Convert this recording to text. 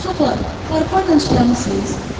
Uşaqlar, arpa ilə işləmisiniz?